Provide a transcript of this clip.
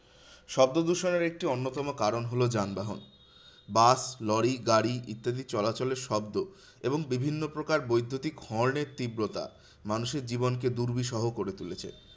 শব্দদূষণের একটি অন্যতম কারণ হলো যানবাহন। বাস, লরি, গাড়ি ইত্যাদি চলাচলের শব্দ এবং বিভিন্ন প্রকার বৈদ্যুতিক horn এর তীব্রতা মানুষের জীবন কে দুর্বিসহ করে তুলেছে।